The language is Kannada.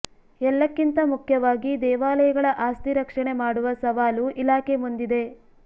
ಎಲ್ಲಕ್ಕಿಂತ ಮುಖ್ಯವಾಗಿ ದೇವಾಲಯಗಳ ಆಸ್ತಿ ರಕ್ಷಣೆ ಮಾಡುವ ಸವಾಲು ಇಲಾಖೆ ಮುಂದಿದೆ